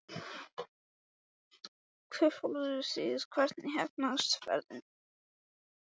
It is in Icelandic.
Hvert fóruð þið og hvernig heppnaðist ferðin?